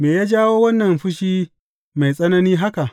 Me ya jawo wannan fushi mai tsanani haka?